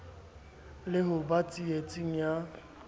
le ho ba tsietseng ya